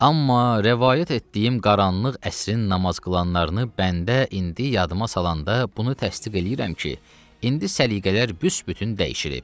Amma rəvayət etdiyim qaranlıq əsrin namaz qılanlarını bəndə indi yadıma salanda bunu təsdiq eləyirəm ki, indi səliqələr büsbütün dəyişilib.